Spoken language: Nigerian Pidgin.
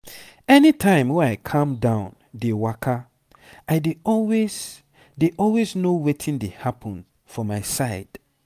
any time wey i calm down dey waka i dey always dey always know wetin dey happen for my side.